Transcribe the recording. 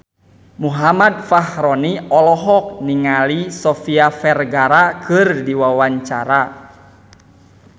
Muhammad Fachroni olohok ningali Sofia Vergara keur diwawancara